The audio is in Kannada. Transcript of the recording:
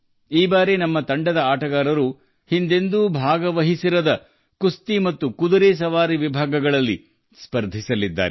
ಈ ಬಾರಿ ನಮ್ಮ ತಂಡದ ಸದಸ್ಯರು ಆ ವಿಭಾಗಗಳಲ್ಲಿ ಕುಸ್ತಿ ಮತ್ತು ಕುದುರೆ ಸವಾರಿಯಲ್ಲಿ ಸ್ಪರ್ಧಿಸಲಿದ್ದಾರೆ ಅವರು ಹಿಂದೆಂದೂ ಭಾಗವಹಿಸಿರಲಿಲ್ಲ